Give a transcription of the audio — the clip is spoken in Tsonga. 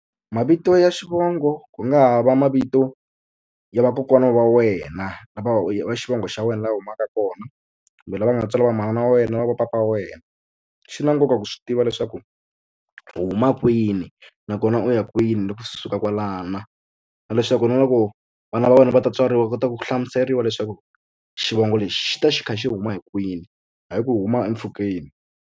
Mavito ya xivongo ku nga ha va mavito ya vakokwana va wena va xivongo xa wena laha u humaka kona kumbe lava nga tswala va manana wa wena va va papa wena swi na nkoka ku swi tiva leswaku u huma kwini nakona u ya kwini loko swi suka kwalano na leswaku na loko vana va wena va ta tswariwa u kota ku hlamuseriwa leswaku xivongo lexi xi ta xi kha xi huma hi kwini hayi ku huma empfhukeni.